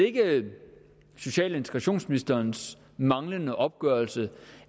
ikke social og integrationsministerens manglende opgørelse